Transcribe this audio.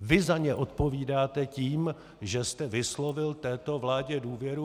Vy za ně odpovídáte tím, že jste vyslovil této vládě důvěru.